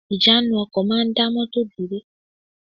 Ìjánu ọkọ̀ máa dá mọ́tọ̀ tò dúró